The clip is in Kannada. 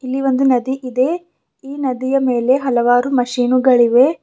ಇಲ್ಲಿ ಒಂದು ನದಿ ಇದೆ ಈ ನದಿಯ ಮೇಲೆ ಹಲವಾರು ಮಶೀನುಗಳಿವೆ.